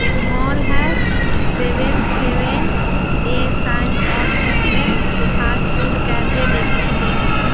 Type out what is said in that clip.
एक मॉल है seventh heaven a slice of happiness fast food cafe bakery cakes.